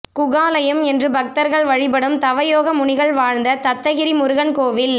குகாலயம் என்று பக்தர்கள் வழிபடும் தவயோகமுனிகள் வாழ்ந்த தத்தகிரி முருகன் கோயில்